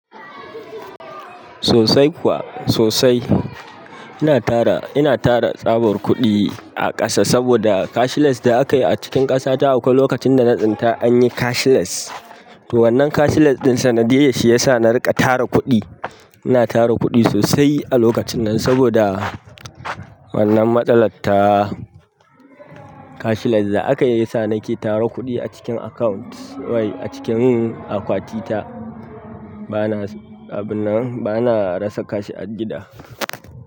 Sosai kuwa sosai. Ina tara, ina tara tsabar kuɗi a ƙasa saboda cashless da aka yi a cikin ƙasa ta akwai lokacin da na tsinta an yi cashless. To wannan cashless ɗinsa na diyyar shi ya sa na riƙa tara kuɗi. Ina tara kuɗi sosai a lokacin nan saboda wannan matsalar ta cashless da aka yi ya sa nake tara kuɗi a cikin account, wai a cikin akwati ta. Bana, abun nan bana rasa cash a gida.